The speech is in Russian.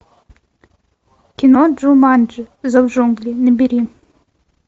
кино джуманджи зов джунглей набери